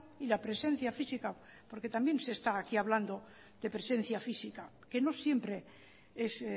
y la presencia física porque también se está aquí hablando de presencia física que no siempre es